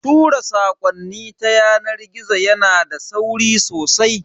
Tura sakonni ta yanar gizo yana da sauri sosai.